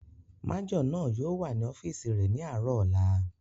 Majọ náà yóò wà ní ọ́fìsì rẹ̀ ní àárọ̀ ọ̀la